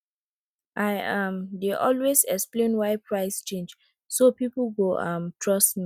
i um dey always explain why price change so people go um trust me